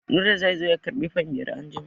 Nura zai zo ya karɓi fan biyar anjima.